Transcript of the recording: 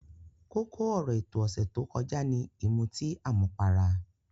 Kókó ọ̀rọ̀ ètò ọ̀sẹ̀ tó kọjá ni ìmutí àmupara.